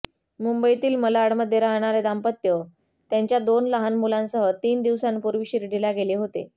मुंबईतील मालाडमध्ये राहणारे दाम्पत्य त्यांच्या दोन लहान मुलांसह तीन दिवसांपूर्वी शिर्डीला गेले होते